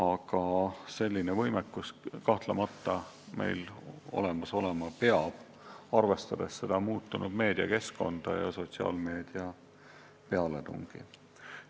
Aga selline võimekus kahtlemata meil olemas olema peab, arvestades muutunud meediakeskkonda ja sotsiaalmeedia pealetungi.